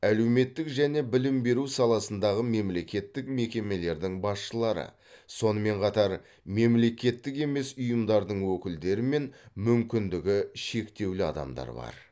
әлеуметтік және білім беру саласындағы мемлекеттік мекемелердің басшылары сонымен қатар мемлекеттік емес ұйымдардың өкілдері мен мүмкіндігі шектеулі адамдар бар